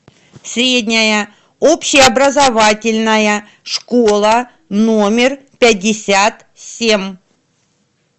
средняя общеобразовательная школа номер пятьдесят семь